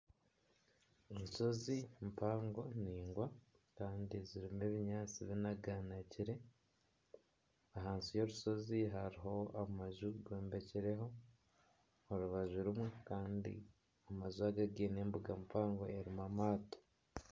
Enshozi mpango ningwa kandi zirimu ebinyaatsi binaganagire. Ahansi y'orushozi hariho amaju gombekire ho orubaju rumwe Kandi amaju aga giine embuga mpango erimu amaato.